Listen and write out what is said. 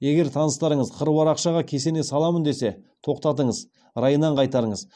егер таныстарыңыз қыруар ақшаға кесене саламын десе тоқтатыңыз райынан қайтарыңыз